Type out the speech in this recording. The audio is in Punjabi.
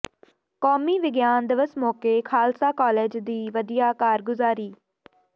ਕੌਮੀ ਵਿਗਿਆਨ ਦਿਵਸ ਮੌਕੇ ਖ਼ਾਲਸਾ ਕਾਲਜ ਦੀ ਵਧੀਆ ਕਾਰਗੁਜ਼ਾਰੀ